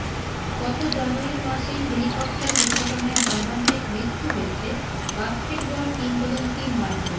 গত জানুয়ারি মাসেই হেলিকপ্টার দুর্ঘটনায় মর্মান্তিক মৃত্যু হয়েছে বাস্কেটবল কিংবদন্তি মার্কিন